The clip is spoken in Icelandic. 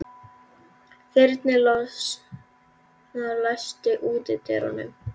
Þyrnirós, læstu útidyrunum.